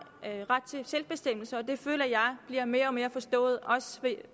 ret til selvbestemmelse det føler jeg bliver mere og mere forstået også ved